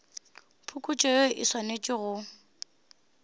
phokotšo yeo e swanetše go